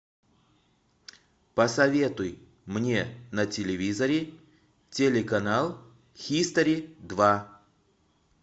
посоветуй мне на телевизоре телеканал хистори два